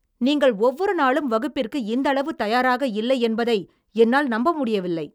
நீங்கள் ஒவ்வொரு நாளும் வகுப்பிற்கு இந்த அளவு தயாராக இல்லை என்பதை என்னால் நம்ப முடியவில்லை.